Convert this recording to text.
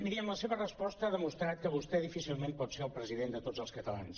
miri amb la seva resposta ha demostrat que vostè difí·cilment pot ser el president de tots els catalans